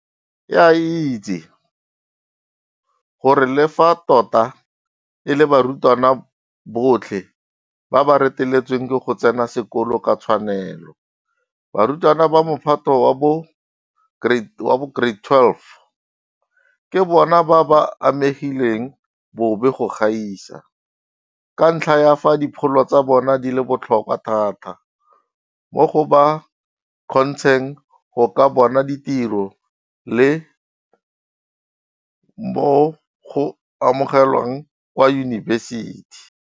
E a itse gore le fa tota e le barutwana botlhe ba ba reteletsweng ke go tsena sekolo ka tshwanelo, barutwana ba Mophato wa bo 12 ke bona ba ba amegileng bobe go gaisa, ka ntlha ya fa dipholo tsa bona di le botlhokwa thata mo go ba kgontsheng go ka bona ditiro le mo go amogelweng kwa yunibesiti.